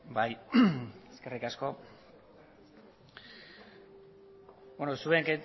bai eskerrik asko